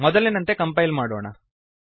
ಮೊದಲಿನಂತೆ ಕಂಪೈಲ್ ಮಾಡೋಣ